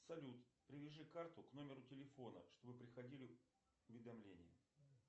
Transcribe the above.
салют привяжи карту к номеру телефона чтобы приходили уведомления